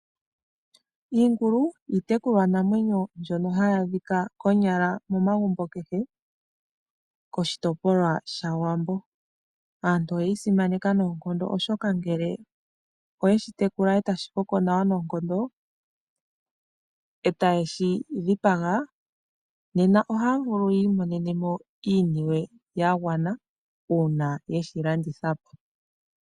Iingulu iitekulwa namwenyo mbyono hayi adhika konyala momagumbo kehe koshitopolwa shawambo. Aantu oye yi simana noonkondo oshoka ngele oye shi tekula e tashi koko nawa noonkondo, e ta yeshi dhipaga nena ohaya vulu yi imonene mo iiniwe ya gwana uuna yeshi landitha po.